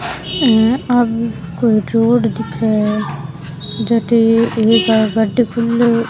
आ कोई रोड दिखे है जठे एक खुलो।